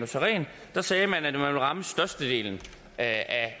sagde man at man ville ramme størstedelen af